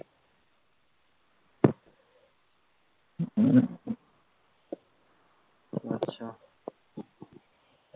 আচ্ছা